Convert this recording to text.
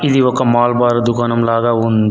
ఇది ఒక మాల్ బార్ దుకాణంలాగా ఉంది.